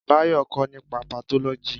Bayo kọ́ nípa patólóji